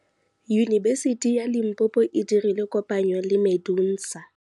Yunibesiti ya Limpopo e dirile kopanyô le MEDUNSA.